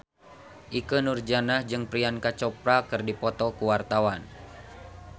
Ikke Nurjanah jeung Priyanka Chopra keur dipoto ku wartawan